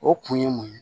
O kun ye mun ye